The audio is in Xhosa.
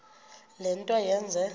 le nto yenze